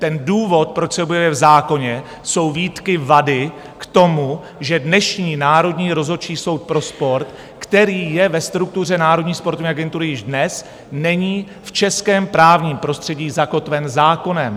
Ten důvod, proč se objevuje v zákoně, jsou výtky vady, k tomu, že dnešní Národní rozhodčí soud pro sport, který je ve struktuře Národní sportovní agentury již dnes, není v českém právním prostředí zakotven zákonem.